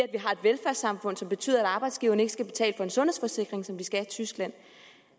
velfærdssamfund som betyder at arbejdsgiveren ikke skal betale for en sundhedsforsikring som de skal i tyskland